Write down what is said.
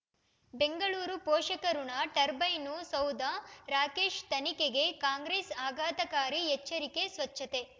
ಬೆಂಗಳೂರು ಪೋಷಕರಋಣ ಟರ್ಬೈನು ಸೌಧ ರಾಕೇಶ್ ತನಿಖೆಗೆ ಕಾಂಗ್ರೆಸ್ ಆಘಾತಕಾರಿ ಎಚ್ಚರಿಕೆ ಸ್ವಚ್ಛತೆ